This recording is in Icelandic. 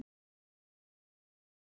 Hún dýrkaði hann.